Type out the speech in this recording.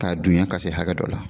K'a dunya k'a se hakɛ dɔ la